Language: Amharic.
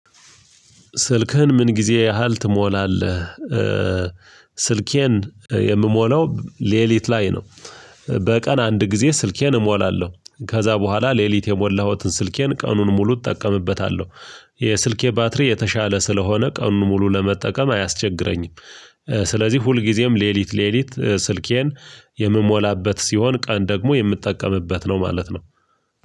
ስልክህን ምን ጊዜ ያህል ትሞላለህ? ስልኬን የምሞላው ለሊት ላይ ነው። በቀን አንድ ጊዜ ስልኬን እሞላለሁ ከዛ በኋላ ለሊት የሞላሁትን ስልኬን ቀኑን ሙሉ እጠቀምበታለሁ። የስልኬ ባትሪ የተሻለ ስለሆነ ቀኑን ሙሉ ለመጠቀም አያስቸግረኝም። ስለዚህ ሁልጊዜም ለሊት ለሊት ስልኬን የምሞላበት ሲሆን ቀን ደግሞ የምጠቀምበት ነው ማለት ነው።